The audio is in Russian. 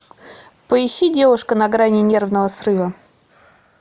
поищи девушка на грани нервного срыва